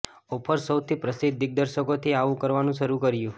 offers સૌથી પ્રસિદ્ધ દિગ્દર્શકો થી આવો કરવાનું શરૂ કર્યું